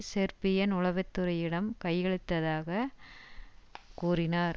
Serbian உளவு துறையிடம் கையளித்ததாக கூறினார்